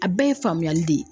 A bɛɛ ye faamuyali de ye.